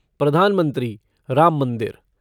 प्रधानमंत्री राम मंदिर